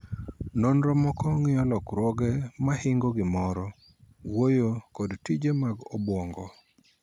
Nonro moko ng'iyo lokruoge mag hingo gimoro, wuoyo, kod tije mag obuongo.